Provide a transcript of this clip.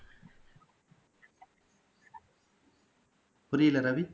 புரியல்ல Ravi